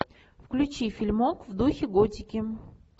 включи фильмок в духе готики